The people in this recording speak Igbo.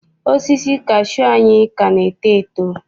Osisi kashuu anyị ka na-eto eto.